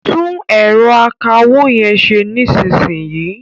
Tún ẹ̀rọ akawó yẹn ṣe nísìnyìí.